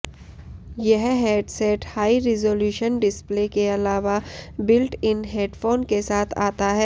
यह headset high resolution display के अलावा बिल्ट इन हेडफोन के साथ आता है